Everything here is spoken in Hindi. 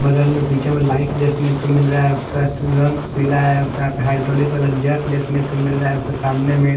बगल में पीछे में लाइट देखने को मिल रहा है उसका रंग पिला है उसमे हाइड्रोलिक वाला जग देखने को मिल रहा है उसके सामने में--